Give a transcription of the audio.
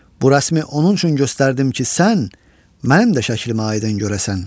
Bu rəsmi onun üçün göstərdim ki, sən mənim də şəklimi aydın görəsən.